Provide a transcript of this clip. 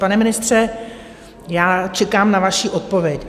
Pane ministře, já čekám na vaši odpověď.